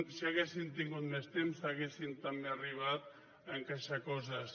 si haguéssim tingut més temps hauríem també arribat a encaixar coses